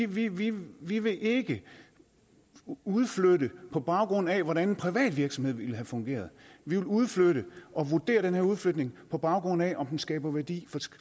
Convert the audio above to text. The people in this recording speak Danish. vi vil vi vil ikke udflytte på baggrund af hvordan en privat virksomhed ville have fungeret vi vil udflytte og vurdere den her udflytning på baggrund af om den skaber værdi